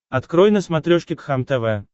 открой на смотрешке кхлм тв